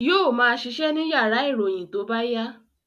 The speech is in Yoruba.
Yóò ma ṣiṣẹ́ ní yàrá ìròyìn tó bá yá